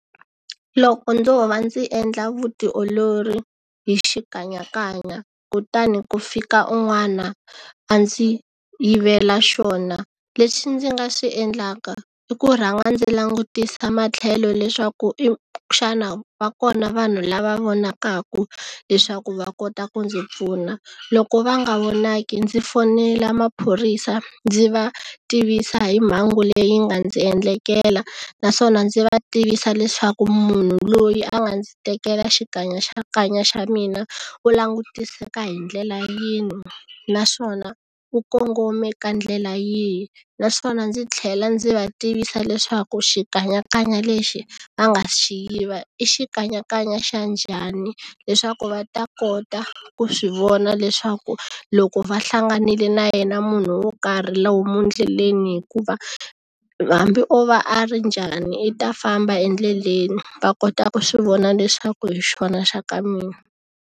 Loko ndzo va ndzi endla vutiolori hi xikanyakanya kutani ku fika un'wana a ndzi yivela xona lexi ndzi nga swi endlaka i ku rhanga ndzi langutisa matlhelo leswaku xana va kona vanhu lava vonakaku leswaku va kota ku ndzi pfuna loko va nga vonaki ndzi fonela maphorisa ndzi va tivisa hi mhangu leyi nga ndzi endlekela naswona ndzi va tivisa leswaku munhu loyi a nga ndzi tekela xa mina u langutiseka hi ndlela yini naswona u kongome ka ndlela yihi naswona ndzi tlhela ndzi va tivisa leswaku xikanyakanya lexi a nga xi yiva i xikanyakanya xa njhani leswaku va ta kota ku swi vona leswaswaku loko va hlanganile na yena munhu wo karhi lomu ndleleni hikuva hambi o va a ri njhani i ta famba endleleni va kota ku swi vona leswaku hi xona xa ka mina.